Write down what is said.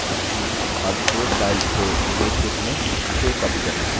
अब source file से image को चुनें जिसे copied करना है